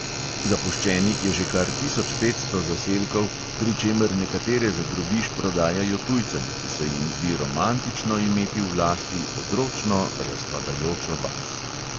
Zapuščenih je že kar tisoč petsto zaselkov, pri čemer nekatere za drobiž prodajajo tujcem, ki se jim zdi romantično imeti v lasti odročno, razpadajočo vas.